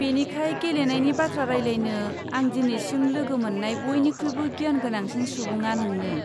बेनिखाय, गेलेनायनि बाथ्रा रायलायनो, आं दिनैसिम लोगो मोननाय बयनिख्रुइबो गियान गोनांसिन सुबुङा नोंनो।